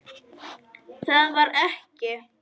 Það varð ekki.